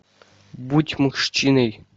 будь мужчиной